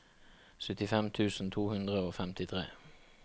syttifem tusen to hundre og femtitre